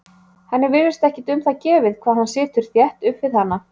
Henni virðist ekkert um það gefið hvað hann situr þétt upp við hana.